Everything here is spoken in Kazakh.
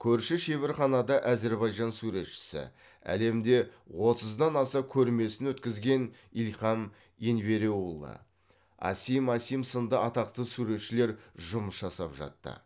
көрші шеберханада әзербайжан суретшісі әлемде отыздан аса көрмесін өткізген ильхам енвереуглы асим асим сынды атақты суретшілер жұмыс жасап жатты